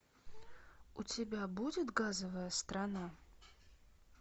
у тебя будет газовая страна